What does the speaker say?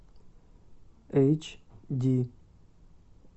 эйч ди